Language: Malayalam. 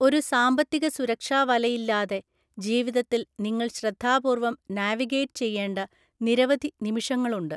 ഒരു സാമ്പത്തിക സുരക്ഷാ വലയില്ലാതെ, ജീവിതത്തിൽ നിങ്ങൾ ശ്രദ്ധാപൂർവ്വം നാവിഗേറ്റ് ചെയ്യേണ്ട നിരവധി നിമിഷങ്ങളുണ്ട്.